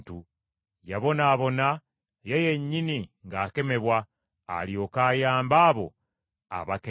Yabonaabona, ye yennyini ng’akemebwa, alyoke ayambe abo abakemebwa.